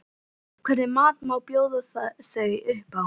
Hvernig mat bjóða þau upp á?